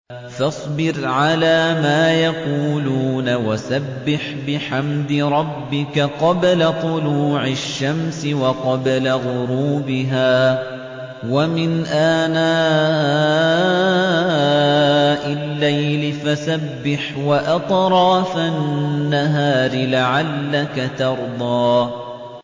فَاصْبِرْ عَلَىٰ مَا يَقُولُونَ وَسَبِّحْ بِحَمْدِ رَبِّكَ قَبْلَ طُلُوعِ الشَّمْسِ وَقَبْلَ غُرُوبِهَا ۖ وَمِنْ آنَاءِ اللَّيْلِ فَسَبِّحْ وَأَطْرَافَ النَّهَارِ لَعَلَّكَ تَرْضَىٰ